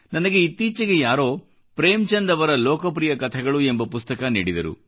ನನಗೆ ಇತ್ತೀಚೆಗೆ ಯಾರೋ ಪ್ರೇಮ್ಚಂದ್ ಅವರ ಲೋಕಪ್ರಿಯ ಕಥೆಗಳು ಎಂಬ ಪುಸ್ತಕ ನೀಡಿದರು